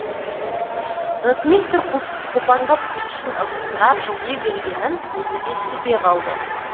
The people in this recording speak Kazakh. ротмистр қопаңдап көршісін ығыстыра жылжи бергенін өзі де сезбей қалды